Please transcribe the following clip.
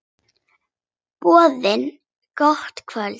Boðið gott kvöld.